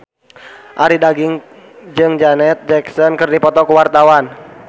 Arie Daginks jeung Janet Jackson keur dipoto ku wartawan